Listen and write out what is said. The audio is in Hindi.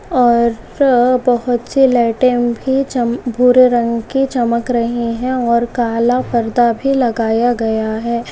और बहुतसे लाइटे भी भूरे रंग के चमक रही है और काला परदा भी लगाया गया है।